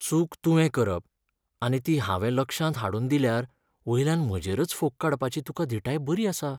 चूक तुवें करप आनी ती हांवें लक्षांत हाडून दिल्यार वयल्यान म्हजेरच फोग काडपाची तुकां धीटाय बरी आसा.